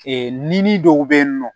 ni dɔw bɛ yen nɔ